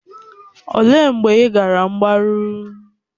Olee mgbe ị gara mgbaru?